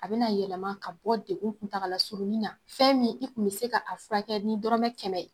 A bɛna yɛlɛma ka bɔ degun kuntaga la surunna, fɛn min i tun bɛ se k'a furakɛ niɔrɔmɛ kɛmɛ.